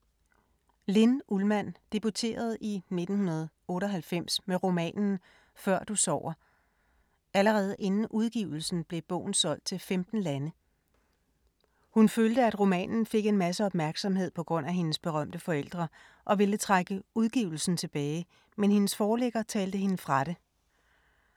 Linn Ullmann debuterede i 1998 med romanen Før du sover. Allerede inden udgivelsen blev bogen solgt til 15 lande. Hun følte, at romanen fik en masse opmærksomhed på grund af hendes berømte forældre og ville trække udgivelsen tilbage, men hendes forlægger talte hende fra det.